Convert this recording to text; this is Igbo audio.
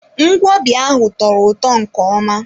Ngwobi ahụ tọrọ ụtọ nke ọma.